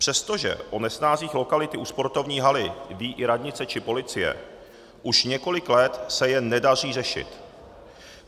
Přestože o nesnázích lokality u sportovní haly ví i radnice či policie, už několik let se je nedaří řešit.